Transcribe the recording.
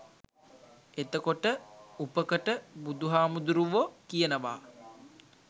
එතකොට උපකට බුදුහාමුදුරුවො කියනවා